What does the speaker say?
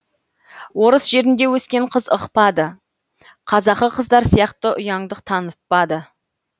орыс жерінде өскен қыз ықпады қазақы қыздар сияқты ұяңдық танытпады